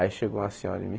Aí chegou uma senhora em mim.